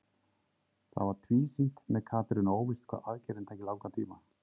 Það var tvísýnt með Katrínu og óvíst hvað aðgerðin tæki langan tíma.